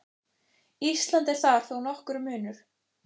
Íslands er þar þó nokkur munur.